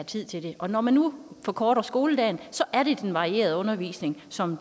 tid til det og når man nu forkorter skoledagen er det den varierede undervisning som